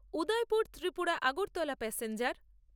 Udaipur Tripura Agartala passenger